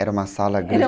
Era uma sala